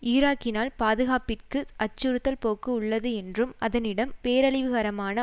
ஈராக்கினால் பாதுகாப்பிற்கு அச்சுறுத்தல் போக்கு உள்ளது என்றும் அதனிடம் பேரழிவுகரமான